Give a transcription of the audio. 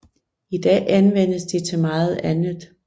I dag anvendes de til meget andet